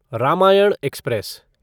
Ramayan express